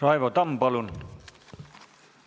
Raivo Tamm, palun!